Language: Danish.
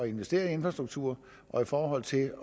investere i infrastruktur og i forhold til